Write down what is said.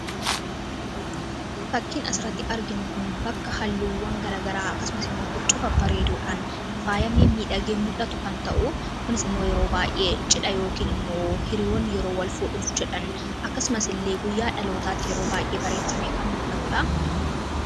Fakkiin asirratti arginu kun bakka halluuwwan garagaraa akkasumas immoo huccuu babareeduudhaan faayamee midhagee mul'atu kan ta'u hunis immoo yeroo baay'ee cidha yookiin immoo hiriyoon yeroo wal fuudhuuf jedhan akkasumas illee guyyaa dhalootaatti yeroo baay'ee bareechame kan mul'atuudha.